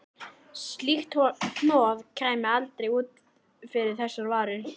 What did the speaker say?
Slíkt hnoð kæmi aldrei út fyrir þess varir.